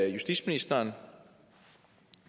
justitsministeren